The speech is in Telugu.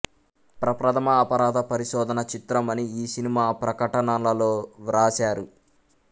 ప్రప్రథమ అపరాధ పరిశోధన చిత్రం అని ఈ సినిమా ప్రకటనలలో వ్రాశారు